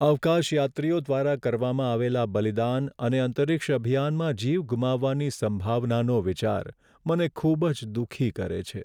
અવકાશયાત્રીઓ દ્વારા કરવામાં આવેલા બલિદાન અને અંતરિક્ષ અભિયાનમાં જીવ ગુમાવવાની સંભાવનાનો વિચાર, મને ખૂબ જ દુઃખી કરે છે.